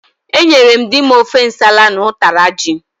Enyere m dim ofe nsala na ụtara ji.